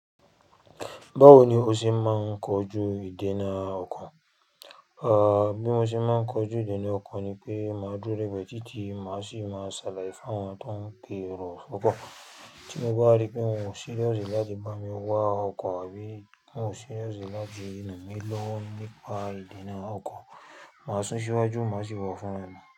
Báwo ni o ṣe máa ń kojú ìdènà ọkàn? Ah bí mo ṣe máa ń kojú ìdènà ọko ni pé màá dúró lẹ́bẹ̀ títí màá sì máa ṣàlàyé fún wọn tí wọ́n ń pe èrò fọ̀ ko. Tí mo bá rí pé wọn ò serious láti bá mi wá ọkọ̀ àbí wọn ò serious láti ran mí lọ́wọ́ nípa ìdènà ọkọ̀, màá sún síwájú màá sì wọ̀ fún wọn.